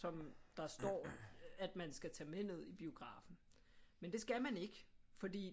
Som der står at man skal tage med ned i biografen men det skal man ikke fordi